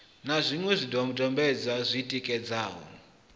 na zwiṅwe zwidodombedzwa zwi tikedzaho